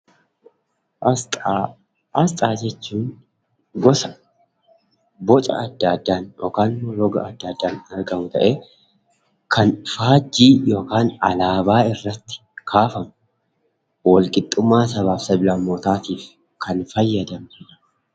Asxaa: Asxaa jechuun gosa, boca adda addaan yokaan roga adda addaan argamu ta'ee kan faajjii yokaan alaabaa irratti kaafamu walqixxummaa sabaaf sablammootaatiif kan fayyadamnudha.